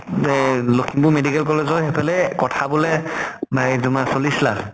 এহ Lakhimpur medical college ৰ সেইফালে কঠা বুলে নাই তোমাৰ চল্লিছ লাখ।